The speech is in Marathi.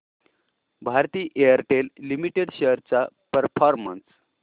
भारती एअरटेल लिमिटेड शेअर्स चा परफॉर्मन्स